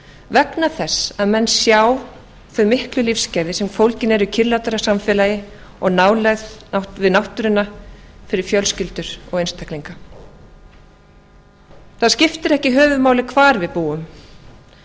vegna þess að menn sjá þau miklu lífsgæði sem fólgin eru í kyrrlátara samfélagi og nálægð við náttúruna fyrir fjölskyldur og einstaklinga það skiptir ekki höfuðmáli hvar við búum